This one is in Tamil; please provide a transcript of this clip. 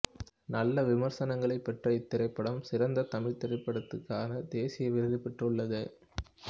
நல்ல விமரிசனங்களைப் பெற்ற இத்திரைப்படம் சிறந்த தமிழ்த் திரைப்படத்துக்கான தேசிய விருது பெற்றுள்ளது